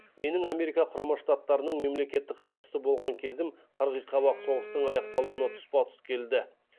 менің америка құрама штаттарының мемлекеттік хатшысы болған кезім қырғи қабақ соғыстың аяқталуына тұспа тұс келді